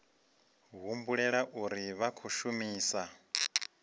humbulela uri vha khou shumisa